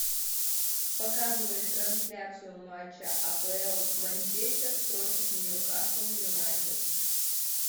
показывай трансляцию матча апл манчестер против ньюкасл юнайтед